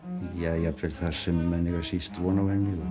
jafnvel þar sem menn eiga síst von á henni og